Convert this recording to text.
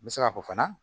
N bɛ se k'a fɔ fana